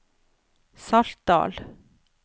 Saltdal